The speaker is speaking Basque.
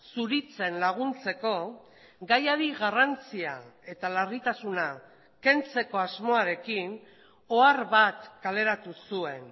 zuritzen laguntzeko gaiari garrantzia eta larritasuna kentzeko asmoarekin ohar bat kaleratu zuen